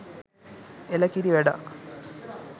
එල කිරි වැඩක්!